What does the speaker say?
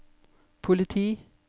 politi